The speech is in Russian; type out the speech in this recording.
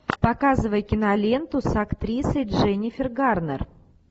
показывай киноленту с актрисой дженнифер гарнер